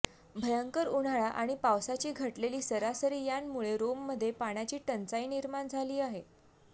भयंकर उन्हाळा आणि पावसाची घटलेली सरासरी यांमुळे रोममध्ये पाण्याची टंचाई निर्माण झाली आहे